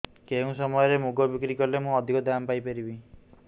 କେଉଁ ସମୟରେ ମୁଗ ବିକ୍ରି କଲେ ମୁଁ ଅଧିକ ଦାମ୍ ପାଇ ପାରିବି